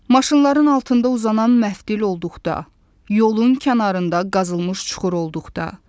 Maşınların altında uzanan məftil olduqda, yolun kənarında qazılmış çuxur olduqda.